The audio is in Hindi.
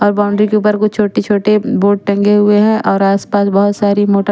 और बाउंड्री के ऊपर कुछ छोटे छोटे बोर्ड टंगे हुए हैं और आस पास बहोत सारी मोट--